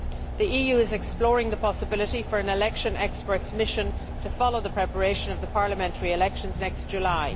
The EU is exploring the possibility of an election experts' mission to follow the preparation of the parliamentary elections next July.